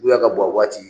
Wula ka bɔ waati